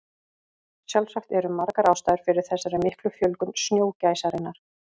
Sjálfsagt eru margar ástæður fyrir þessari miklu fjölgun snjógæsarinnar.